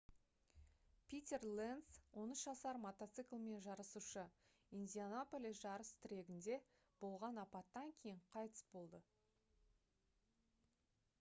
питер ленц 13 жасар мотоциклмен жарысушы индианаполис жарыс трегінде болған апаттан кейін қайтыс болды